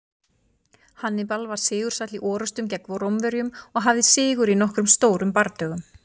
Hannibal var sigursæll í orrustum gegn Rómverjum og hafði sigur í nokkrum stórum bardögum.